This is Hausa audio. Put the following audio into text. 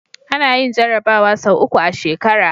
Anayin jarabawa sau uku a shekara